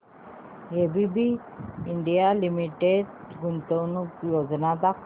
ABB India limited गुंतवणूक योजना दाखव